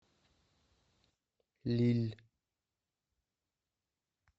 лилль